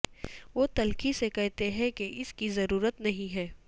وہ تلخی سے کہتے ہیں کہ اس کی ضرورت نہیں ہے